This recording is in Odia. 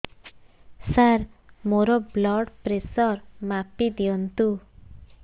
ସାର ମୋର ବ୍ଲଡ଼ ପ୍ରେସର ମାପି ଦିଅନ୍ତୁ